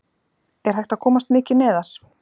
Er hægt að komast mikið neðar??